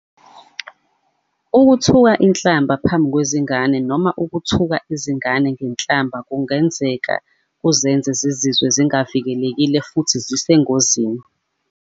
Ukuthuka inhlamba phambi kwezingane noma ukuthuka izingane ngenhlamba kungenzeka kuzenze zizizwe zingavikelekile futhi zisengozini.